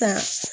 Ka